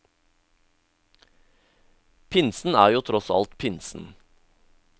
Pinsen er jo tross alt pinsen.